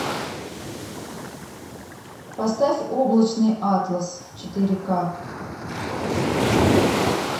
поставь облачный атлас четыре ка